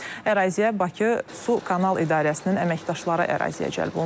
Əraziyə Bakı Su Kanal İdarəsinin əməkdaşları əraziyə cəlb olunub.